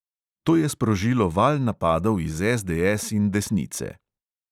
To je sprožilo val napadov iz SDS in desnice.